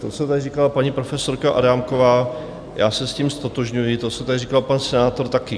To, co tady říkala paní profesorka Adámková, já se s tím ztotožňuji, to, co tady říkal pan senátor, taky.